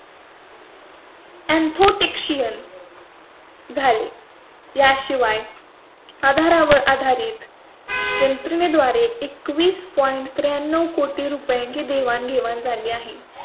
infotechsian. झाले. याशिवाय आधारावर आधारित यंत्रणे द्वारे एकवीस पॉइंट point त्र्याण्णव ची देवाणघेवाण झाली आहे. आधार च्या माध्यमातून एकतीस पॉइंट point.